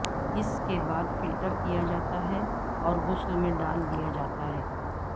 اس کے بعد فلٹر کیا جاتا ہے اور غسل میں ڈال دیا جاتا ہے